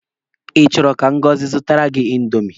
Ị chọrọ ka Ngọzi zụtara gị indomi?